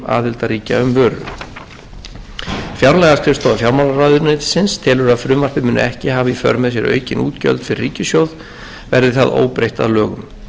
aðildarríkja um vöru fjárlagaskrifstofa fjármálaráðuneytisins telur að frumvarpið muni ekki hafa í för með sér aukin útgjöld fyrir ríkissjóð verði það óbreytt að lögum